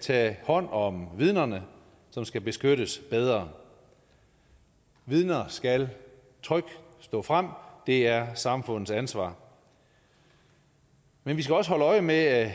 tages hånd om vidnerne som skal beskyttes bedre vidner skal trygt stå frem det er samfundets ansvar men vi skal også holde øje med at